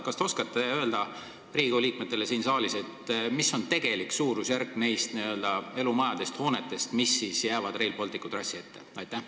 Kas te oskate öelda Riigikogu liikmetele, mis on tegelik nende elumajade, hoonete suurusjärk, mis jäävad Rail Balticu trassile ette?